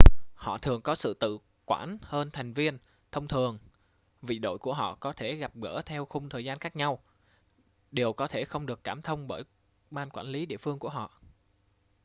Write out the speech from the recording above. họ thường có sự tự quản hơn thành viên thông thường vì đội của họ có thể gặp gỡ theo khung thời gian khác nhau điều có thể không được cảm thông bởi ban quản lý địa phương của họ